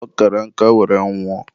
ọ kara nka were nwụọ.